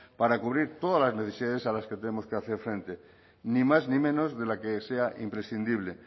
para cubrir todas las necesidades a los que tenemos que hacer frente ni más ni menos de la que sea imprescindible